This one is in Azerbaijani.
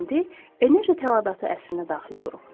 Biz indi enerji tələbatı əsrinə daxil oluruq.